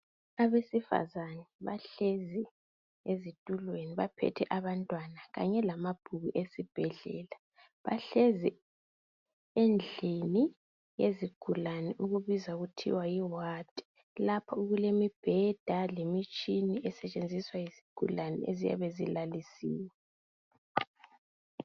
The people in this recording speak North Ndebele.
Abesifazana bahlezi ezitulweni baphethe abantwana kanye lamabhuku esibhedlela. Bahlezi endlini yezigulani ebizwa kuthwa yi wadi. Lapho okulemibheda lemitshina esetshenziswa yizigulane eziyabe zilalisiwe.